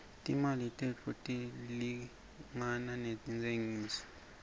timali tethu tilingana rustengisa